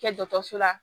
Kɛ dɔgɔtɔrɔso la